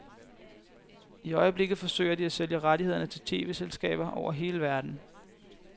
I øjeblikket forsøger de at sælge rettighederne til tv-selskaber over hele verden.